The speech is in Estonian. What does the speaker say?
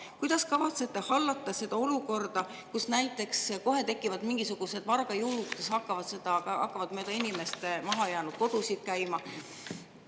Kuidas kavatsete hallata seda olukorda, kui kohe tekivad mingisugused vargajõugud, kes hakkavad mööda inimeste maha jäänud kodusid käima?